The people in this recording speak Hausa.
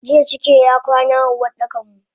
Jiya cike y akwana a Uwardakanmu.